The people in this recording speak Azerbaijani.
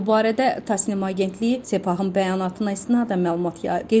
Bu barədə Tasnim agentliyi Sepahın bəyanatına istinadən məlumat yayıb.